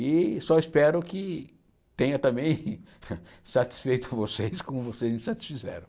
E só espero que tenha também satisfeito vocês como vocês me satisfizeram.